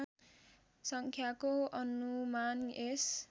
सङ्ख्याको अनुमान यस